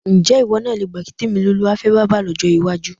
Ǹjé̩ ìwó̩ náà le gbà kí Tèmilolúwa fé̩ bábà ló̩jó̩ iwájú?